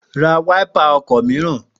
Ra wáípà ọkọ̀ mìíràn!